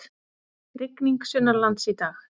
Rigning sunnanlands í dag